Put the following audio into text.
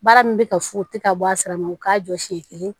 Baara min bɛ ka fu tɛ ka bɔ a sira ma u k'a jɔ siɲɛ kelen